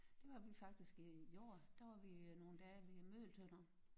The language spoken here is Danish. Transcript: Det var vi faktisk øh i år der var vi øh nogle dage ved Møgeltønder